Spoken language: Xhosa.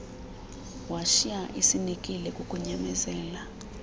washiya esinekile kukunyamezela